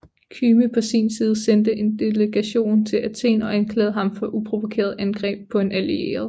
Kyme på sin side sendte en delegation til Athen og anklagede ham for uprovokeret angreb på en allieret